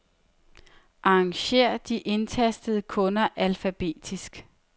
Arrangér de indtastede kunder alfabetisk.